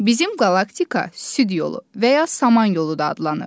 Bizim qalaktika Süd yolu və ya Saman yolu da adlanır.